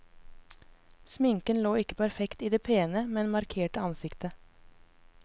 Sminken lå ikke perfekt i det pene, men markerte ansiktet.